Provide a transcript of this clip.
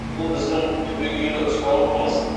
бұл біздің түбегейлі ұстанымымыз